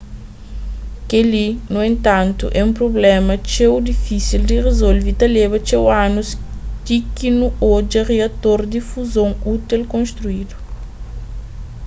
kel-li nu entantu é un prubléma txeu difísil di rizolve y ta leba txeu anus ti ki nu odja riator di fuzon útil konstrídu